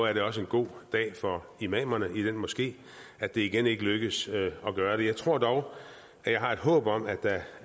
er det også en god dag for imamerne i den moské at det igen ikke lykkedes at gøre det jeg tror dog og jeg har et håb om at der